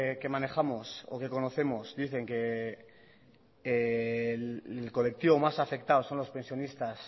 que manejamos reconocemos dicen que el colectivo más afectado son los pensionistas